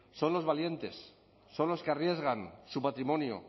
son los valientes son los que arriesgan su patrimonio